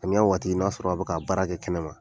Samiya waati , n'a sɔrɔ a bɛ k'a baara kɛ kɛnɛ ma